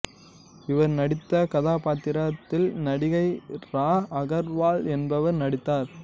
இவர் நடித்த கதாபாத்திரத்தில் நடிகை இரா அகர்வால் என்பவர் நடித்தார்